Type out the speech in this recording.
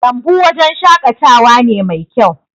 lambu wajen shakatawa ne Mai kyau